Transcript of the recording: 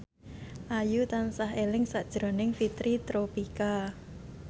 Ayu tansah eling sakjroning Fitri Tropika